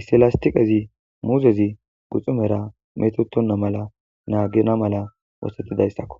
issi lastiqezi muuzezi guxunera metetonna mala naagina mala oosettidayssakko